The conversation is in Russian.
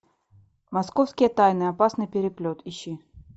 московские тайны опасный переплет ищи